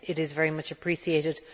It is very much appreciated.